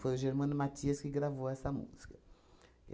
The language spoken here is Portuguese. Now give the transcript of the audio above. Foi o Germano Mathias que gravou essa música.